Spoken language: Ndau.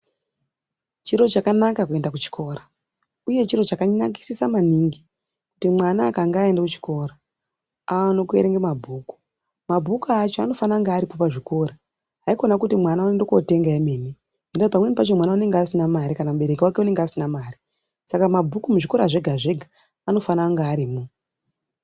C hiro chakanaka kuenda kuchikora, uye chiro chakanakisisa maningi kutimwana akange aenda kuchikora aone kuerenga mabhuku. Mabhuku acho anofane kunge aripo pazvikoro, haikona kuti mwana unoende kotenga emene, ngekuti pamweni pacho unenge asina mari, kana mubereki wake unenge asina mare. Saka mabhuku muzvikora zvega-zvega anofana kunge arimo.